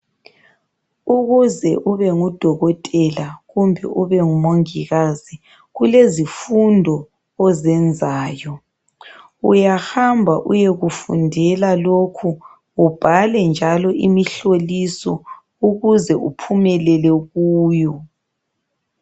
Ukuze ubengudokothela kumbe ubengumongikazi kulezifundo ozenzayo . Uyahamba uyekufundela lokhu ubhale njalo imihloliso ukuze uphumelele kuyo .